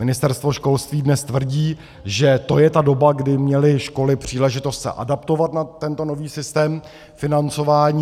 Ministerstvo školství dnes tvrdí, že to je ta doba, kdy měly školy příležitost se adaptovat na tento nový systém financování.